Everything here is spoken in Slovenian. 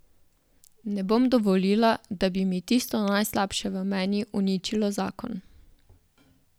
Ne bom dovolila, da bi mi tisto najslabše v meni uničilo zakon.